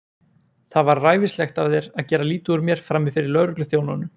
Það var ræfilslegt af þér að gera lítið úr mér frammi fyrir lögregluþjónunum!